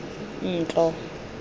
ntlo